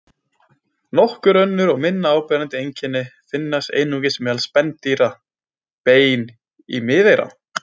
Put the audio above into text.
Nokkur önnur og minna áberandi einkenni finnast einungis meðal spendýra: Bein í miðeyra.